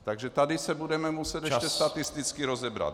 Takže tady se budeme muset ještě statisticky rozebrat.